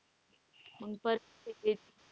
मग परत तेच.